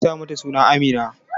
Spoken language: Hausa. Ki sa mata suna Amina!